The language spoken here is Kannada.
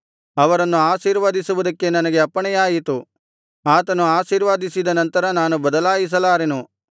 ಅವರನ್ನು ಆಶೀರ್ವದಿಸುವುದಕ್ಕೆ ನನಗೆ ಅಪ್ಪಣೆಯಾಯಿತು ಆತನು ಆಶೀರ್ವದಿಸಿದ ನಂತರ ನಾನು ಬದಲಾಯಿಸಲಾರೆನು